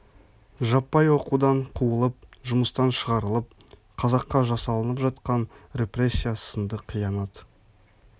жаппай оқудан қуылып жұмыстан шығарылып қазаққа жасалынып жатқан репрессия сынды қиянат